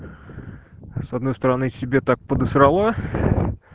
с одной стороны себе так подосрало